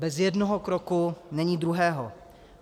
Bez jednoho kroku není druhého.